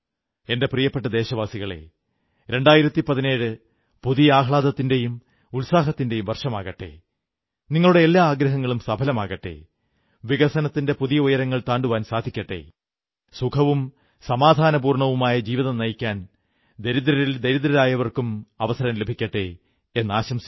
എന്റെ പ്രിയപ്പെട്ട ദേശവാസികളേ 2017 പുതിയ ആഹ്ലാദത്തിന്റെയും ഉത്സാഹത്തിന്റെയും വർഷമാകട്ടെ നിങ്ങളുടെ എല്ലാ ആഗ്രഹങ്ങളും സഫലമാകട്ടെ വികസനത്തിന്റെ പുതിയ ഉയരങ്ങൾ താണ്ടുവാൻ സാധിക്കട്ടെ സുഖവും സമാധാനപൂർണ്ണവുമായ ജീവിതം നയിക്കാൻ ദരിദ്രരിൽ ദരിദ്രരായവർക്കും അവസരം ലഭിക്കട്ടെ എന്നാശംസിക്കുന്നു